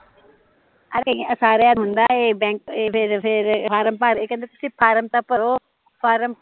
ਅਰੇ ਯਾਰ ਸਾਰਿਆ ਦਾ ਹੁੰਦਾ ਏਹ ਬੈਂਕ ਏਹ ਫੇਰ ਫੇਰ ਫ਼ਾਰਮ ਭਰਏਹ ਕਹਿੰਦੇ ਤੁਸੀਂ ਫ਼ਾਰਮ ਤਾਂ ਭਰੋ